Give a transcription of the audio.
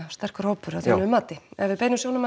sterkur hópur að þínu mati ef við beinum sjónum